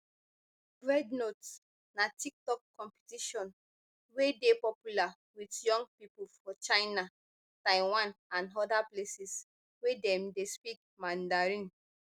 rednote na tiktok competition wey dey popular wit young pipo for china taiwan and oda places wey dem dey speak mandarin